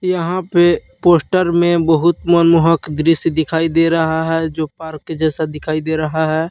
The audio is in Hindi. यहां पे पोस्ट में बहुत मनमोहक दृश्य दिखाई दे रहा है जो पार्क के जैसा दिखाई दे रहा है।